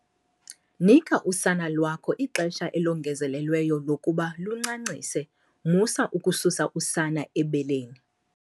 Nika usana lwakho ixesha elongezelelweyo lokuba luncancise musa ukususa usana ebeleni.